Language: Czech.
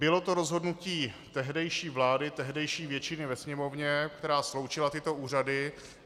Bylo to rozhodnutí tehdejší vlády, tehdejší většiny ve Sněmovně, která sloučila tyto úřady.